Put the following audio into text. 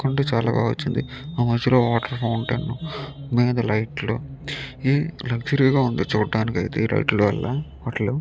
కొండ చాలా బాగా వచ్చింది ఆ మధ్యలోని వాటర్ ఫాంట్ అయిన మీద లైట్లు లక్సరీ గ ఉంది చూడడానికి ఈ లైట్ లు వలన హోటల్ .